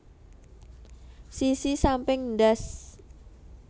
Sisi samping ndas